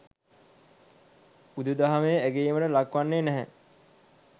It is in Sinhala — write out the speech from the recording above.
බුදුදහමෙහි අගැයීමට ලක් වන්නේ නැහැ.